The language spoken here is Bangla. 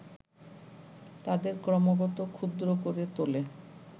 তাদের ক্রমাগত ক্ষুদ্র করে তোলে